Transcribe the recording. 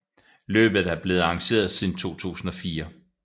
Løbet er blevet arrangeret siden 2004